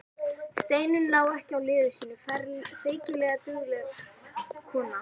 Steinunn lá ekki á liði sínu, feykilega dugleg kona.